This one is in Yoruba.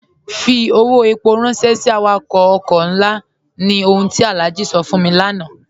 Fí ọwọ́ èpó ránṣẹ̀ sí àwàkọ̀ ọ̀kọ̀ nlá, ní ọ̀hùn ti Alhaji sọ̀ fún mi lánà.